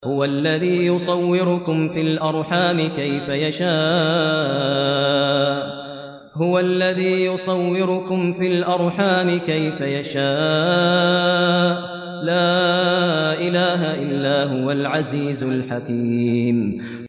هُوَ الَّذِي يُصَوِّرُكُمْ فِي الْأَرْحَامِ كَيْفَ يَشَاءُ ۚ لَا إِلَٰهَ إِلَّا هُوَ الْعَزِيزُ الْحَكِيمُ